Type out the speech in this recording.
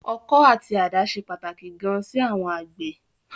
Ọkọ́ àti àdá ṣe pàtàkì gan sí àwọn àgbẹ̀.